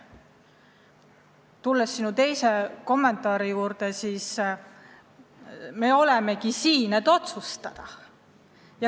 Mis puutub sinu teise kommentaari, siis me olemegi siin selleks, et otsustada.